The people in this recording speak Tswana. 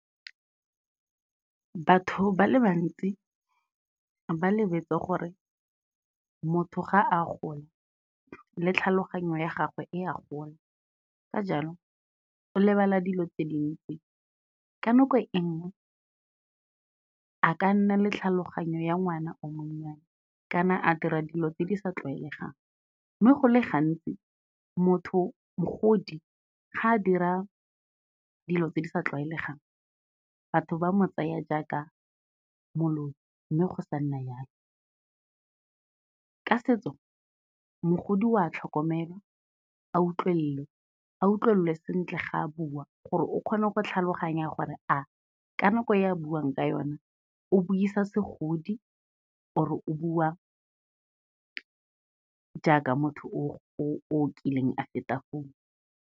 Batho ba le bantsi ba lebetse gore motho ga a gola le tlhaloganyo ya gagwe e a gola, ka jalo o lebala dilo tse dintsi. Ka nako e nngwe, a ka nna le tlhaloganyo ya ngwana o monnyane kana a dira dilo tse di sa tlwaelegang, mme go le gantsi mogodi ga a dira dilo tse di sa tlwaelegang batho ba mo tsaya jaaka moloi, mme go sa nna jalo. Ka setso, mogodi wa tlhokomelwa a utlwelelwe, a utlwelelwe sentle ga a bua gore o kgone go tlhaloganya gore a ka nako ya buang ka yona, o buisa segodi or-e o bua jaaka motho o kileng a feta foo.